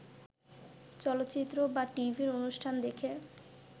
চলচ্চিত্র বা টিভি অনুষ্ঠান দেখে